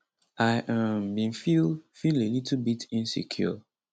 i um bin feel feel a little bit insecure